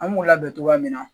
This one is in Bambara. An b'u labɛn cogoya min na